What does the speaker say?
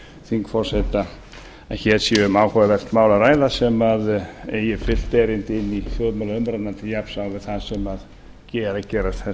þingforseta að hér sé um áhugavert mál að ræða sem eigi brýnt erindi inn í þjóðmálaumræðuna til jafns á við það sem er að gerast